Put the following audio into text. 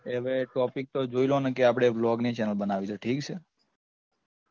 એ હવે topic તો જોઈ લો ને કે આપડે blog ની channel બનાવવી છે ઠીક છે